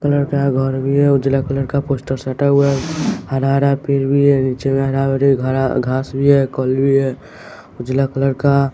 colour का घर भी है उजला कलर का पोस्टर साटा हुआ हैं हरा हरा पेड़ भी हैं नीचे में हरा भरी हरा घास भी है भी हैं उजला कलर का--